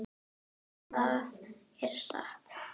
En það er satt.